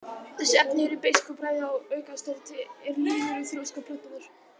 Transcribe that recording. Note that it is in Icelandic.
Þessi efni eru beisk á bragðið og aukast oft er líður á þroska plöntunnar.